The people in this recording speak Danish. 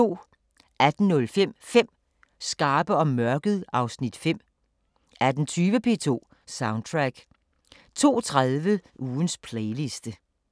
18:05: 5 skarpe om mørket (Afs. 5) 18:20: P2 Soundtrack 02:30: Ugens playliste